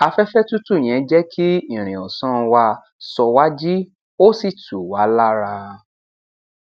afẹfẹ tútù yẹn jẹ kí ìrìn ọsán wá sọ wá jí ó sì tù wá lára